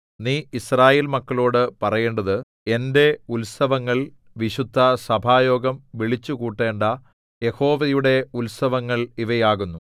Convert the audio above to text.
നീ യിസ്രായേൽ മക്കളോടു പറയേണ്ടത് എന്റെ ഉത്സവങ്ങൾ വിശുദ്ധസഭായോഗം വിളിച്ചുകൂട്ടേണ്ട യഹോവയുടെ ഉത്സവങ്ങൾ ഇവയാകുന്നു